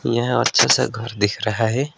यह अच्छे से घर दिख रहा है।